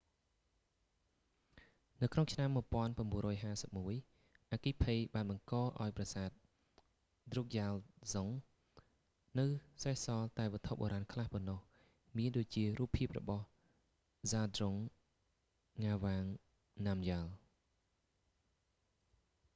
នៅក្នុងឆ្នាំ 1951 អគ្គិភ័យបានបង្កឱ្យប្រសាទ drukgyal dzong នៅសេសសល់តែវត្ថុបុរាណខ្លះប៉ុណ្ណោះ មានដូចជា រូបភាពរបស់ zhabdrung ngawang namgyal